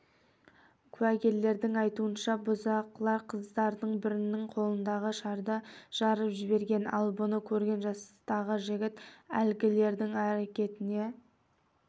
куәгерлердің айтуынша бұзықылар қыздардың бірінің қолындағы шарды жарып жіберген ал бұны көрген жастағы жігіт әлгілердің әрекетіне